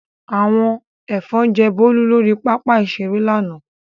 Àwọn ẹ̀fọn jẹ Bólú lórí pápá-ìṣeré lánàá.